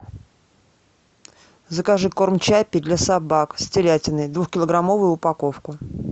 закажи корм чаппи для собак с телятиной двухкилограммовую упаковку